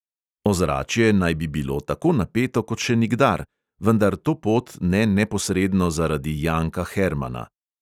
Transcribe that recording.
Ozračje naj bi bilo tako napeto, kot še nikdar, vendar to pot ne neposredno zaradi janka hermana.